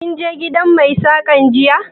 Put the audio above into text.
Kin je gidan mai Saƙan jiya?